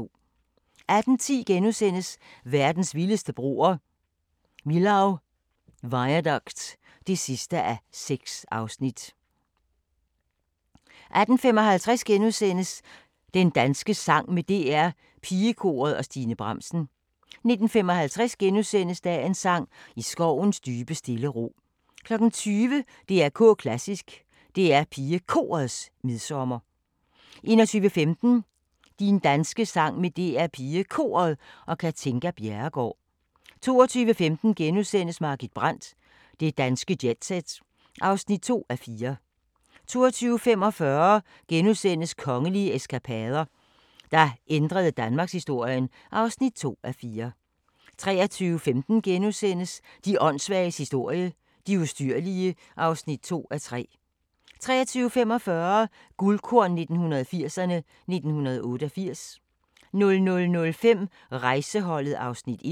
18:10: Verdens vildeste broer – Millau Viaduct (6:6)* 18:55: Din danske sang med DR PigeKoret og Stine Bramsen * 19:55: Dagens sang: I skovens dybe stille ro * 20:00: DR K Klassisk: DR PigeKorets midsommer 21:15: Din danske sang med DR PigeKoret og Katinka Bjerregaard 22:15: Margit Brandt – Det danske jet-set (2:4)* 22:45: Kongelige eskapader – der ændrede danmarkshistorien (2:4)* 23:15: De åndssvages historie – de ustyrlige (2:3)* 23:45: Guldkorn 1980'erne: 1988 00:05: Rejseholdet (Afs. 1)